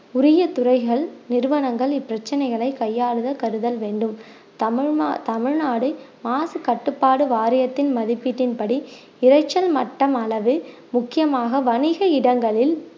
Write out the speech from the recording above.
உரிய துறைகள் நிறுவனங்கள் இப்பிரச்சனைகளை கையாளுத கருதல் வேண்டும் தமிழ்நா~ தமிழ்நாடு மாசு கட்டுப்பாடு வாரியத்தின் மதிப்பீட்டின்படி இரைச்சல் மட்டம் அளவு முக்கியமாக வணிக இடங்களில்